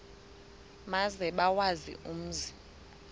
maze bawazi umzi